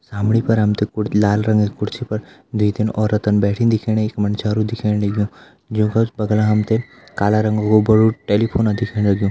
सामणी पर हम तें कुर लाल रंग की कुर्सी पर दुई तीन औरतन बैठी दिखेणी एक मंडस्यारू दिखेण लग्युं जूं का बगल हम तें काला रंगो को बड़ु टेलीफोन दिखेण लग्युं।